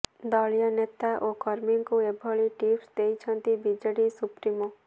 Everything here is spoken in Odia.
ଦଳୀୟ ନେତା ଓ କର୍ମୀଙ୍କୁ ଏଭଳି ଟିପ୍ସ ଦେଇଛନ୍ତି ବିଜେଡି ସୁପ୍ରିମୋ